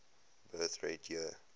birth rate year